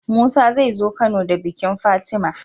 Musa zai zo kano da bikin fatima